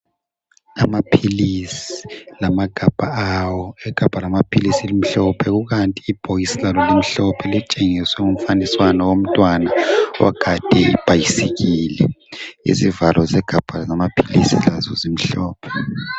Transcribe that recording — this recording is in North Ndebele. Amaphilisi lamagabha awo. Igabha lamaphilisi limhlophe kukanti ibhokisi lalo limhlophe elitshengisa umfaniswana womntwana ogade ibhasikili. Izivalo zegabha lamaphilisi lazo zimhlophe.